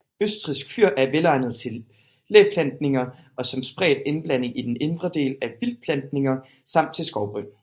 Østrigsk fyr er velegnet til læplantninger og som spredt indblanding i den indre del af vildtplantninger samt til skovbryn